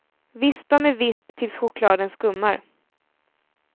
Vispa med visp tills chokladen skummar.